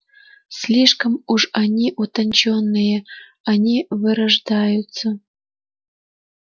слишком уж они утончённые они вырождаются